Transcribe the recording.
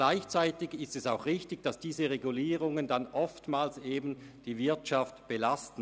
Gleichzeitig ist es auch richtig, dass diese Regulierungen oftmals die Wirtschaft belasten.